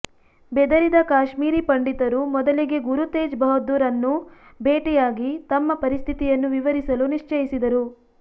ಬೆದರಿದ ಕಾಶ್ಮೀರಿ ಪಂಡಿತರು ಮೊದಲಿಗೆ ಗುರು ತೇಜ್ ಬಹದ್ದೂರ್ ರನ್ನು ಭೇಟಿಯಾಗಿ ತಮ್ಮ ಪರಿಸ್ಥಿತಿಯನ್ನು ವಿವರಿಸಲು ನಿಶ್ಚಯಿಸಿದರು